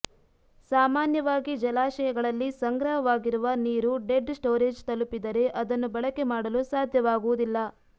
ಸಾಮಾನ್ಯವಾಗಿ ಜಲಾಶಯಗಳಲ್ಲಿ ಸಂಗ್ರಹವಾಗಿರುವ ನೀರು ಡೆಡ್ ಸ್ಟೋರೇಜ್ ತಲುಪಿದರೆ ಅದನ್ನು ಬಳಕೆ ಮಾಡಲು ಸಾಧ್ಯವಾಗುವುದಿಲ್ಲ